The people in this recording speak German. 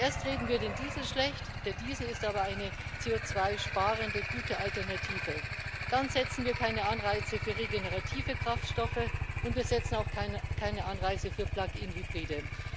Erst reden wir den Diesel schlecht der Diesel ist aber eine CO2 sparende gute Alternative dann setzen wir keine Anreize für regenerative Kraftstoffe, und wir setzen auch keine Anreize für Plug in Hybride.